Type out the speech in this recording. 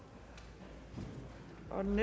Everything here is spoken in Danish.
om